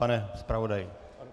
Pane zpravodaji?